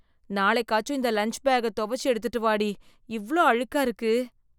நாளைக்காச்சும் இந்த லஞ்ச் பேக்க துவச்சு எடுத்துட்டு வாடி. இவ்ளோ அழுக்கா இருக்கு.